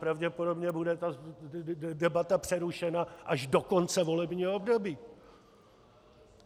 Pravděpodobně bude ta debata přerušena až do konce volebního období.